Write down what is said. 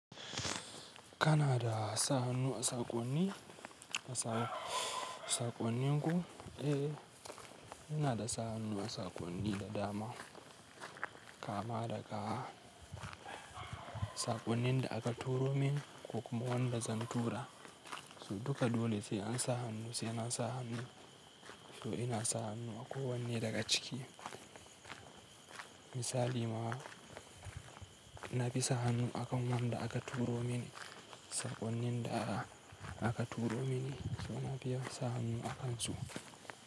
Kana da sa hannu a saƙonni, saƙonninku? Eh, ina da sa hannu a saƙonni da dama kama daga saƙonnin da aka turo mini ko kuma waɗanda zan tura. Su duka dole sai an sa hannu sai na sa hannu. To ina sa hannu a kowanne daga ciki. Misali mawa, na bi sa hannun akan waɗanda aka turo mini, saƙonnin da aka turo mini, so na biya sa hannu a kan su.